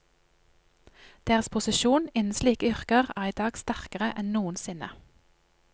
Deres posisjon innen slike yrker er i dag sterkere enn noensinne.